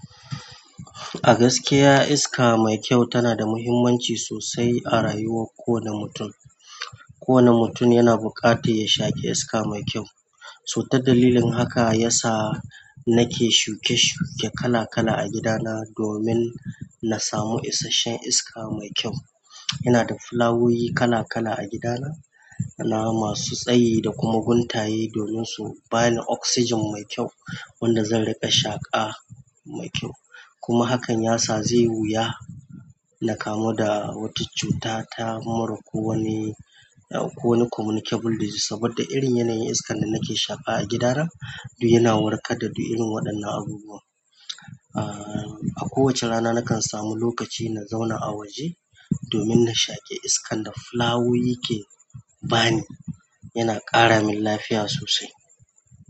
A gaskiya iska mai kyau tana da muhimmanci sosai a rayuwar kowane mutum. Kowane mutum yana buƙatar ya shaƙe iska mai kyau. So ta dalilin haka ya sa nake shuke-shuke kala-kala a gidana domin na samu isasshen iska mai kyau. Yana da flawoyi kala-kala a gidana, nama masu tsayi da kuma guntaye domin su bani oxygen mai kyau wanda zan riƙa shaƙa mai kyau. Kuma hakan ya sa zai wuya na kamu da wata cuta ta mura ko wani, ko wani communicable disease saboda irin yanayin iskan da nake shaƙa a gidana yana warkar da du irin waɗannan abubuwa. A kowace rana nakan sami lokaci na zauna a waje domin na shaƙe iskan da flawoyi ke bani. Yana ƙara min lafiya sosai.